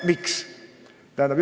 Miks?